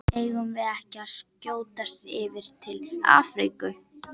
Eigum við ekki að skjótast yfir til Afríku?